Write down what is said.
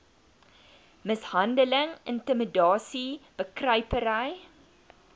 mishandeling intimidasie bekruipery